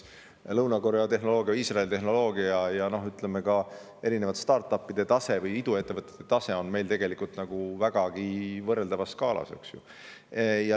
Lõuna-Korea ja Iisraeli tehnoloogiaga on meie start‑up'ide ehk iduettevõtete tase tegelikult vägagi võrreldavas skaalas.